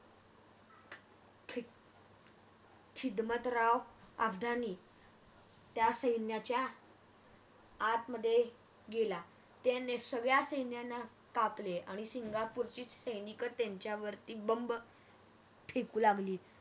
हिजमतराव अब्धानी त्या सैन्याच्या आत्मदाह गेला. आणि त्याने सगळ्या सैन्याला कापले आणि सिंगापूरची सैनिक त्यांच्यावरती बंब फेकू लागले.